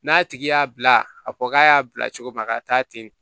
N'a tigi y'a bila a ko k'a y'a bila cogo min a ka taa ten